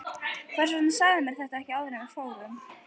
Hvers vegna sagðirðu mér þetta ekki áður en við fórum?